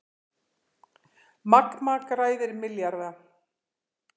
Magma græðir milljarða